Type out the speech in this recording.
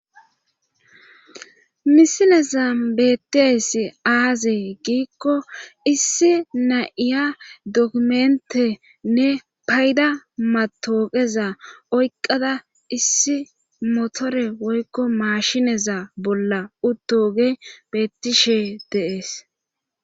misileza beettes aazee giikko issi na7iya dokumentenne payda matooqeza oyqqada issi motore woykko maashineza bolla uttogey beettishe de'ees